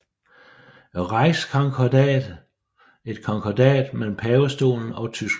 Reichskonkordat et konkordat mellem pavestolen og Tyskland